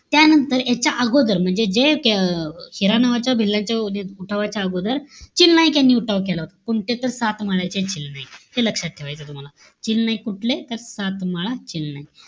त्यानंतर याच्याअगोदर म्हणजे जे अं हिरा नावाचा भिल्लाचा जो उठावाच्या अगोदर, चिल नाईक यांनी उठाव केला होता. कोणते? तर सातमाळ्याचे चिल नाईक. हे लक्षात ठेवायचं तूम्हाला. चिल नाईक कुठले? तर, सातमाळा, चिल नाईक.